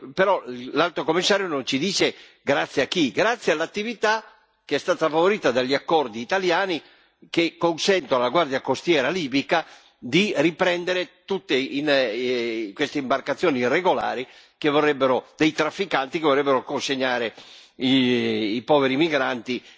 Però l'Alto rappresentante non ci dice grazie a chi grazie all'attività che è stata favorita dagli accordi italiani che consentono alla Guardia costiera libica di riprendere tutte queste imbarcazioni irregolari dei trafficanti che vorrebbero consegnare i poveri migranti